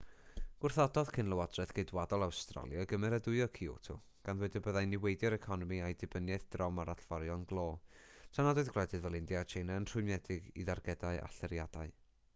gwrthododd cyn-lywodraeth geidwadol awstralia gymeradwyo kyoto gan ddweud y byddai'n niweidio'r economi a'i dibyniaeth drom ar allforion glo tra nad oedd gwledydd fel india a tsieina yn rhwymedig i dargedau allyriadau